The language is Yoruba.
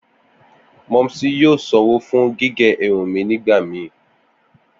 Momsy yoo sanwo fun gige irun mi nigbamii.